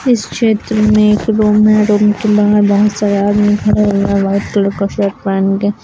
इस चित्र में एक रूम है रूम के बाहर बहुत सारे आदमी खड़े हैं व्हाइट कलर का शर्ट पहन के।